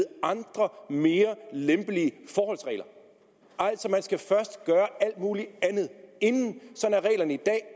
andre mere lempelige forholdsregler altså man skal først gøre alt muligt andet inden